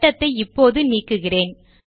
வட்டத்தை இப்போது நீக்குகிறேன்